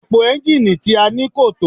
Epo ẹ́ńjínnìì tí a ní kò tó.